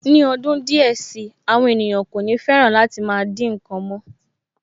Ní ọdún díẹ̀ si, àwọn ènìyàn kò ní fẹ́ràn láti dín nǹkan mọ́